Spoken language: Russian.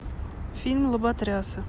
фильм лоботрясы